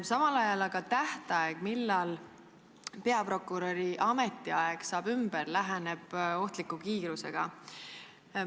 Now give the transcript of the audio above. Aga tähtaeg, millal peaprokuröri ametiaeg saab ümber, läheneb ohtliku kiirusega.